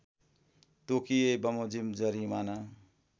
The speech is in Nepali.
तोकिए बमोजिम जरिवाना